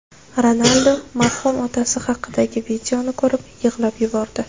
Ronaldu marhum otasi haqidagi videoni ko‘rib yig‘lab yubordi .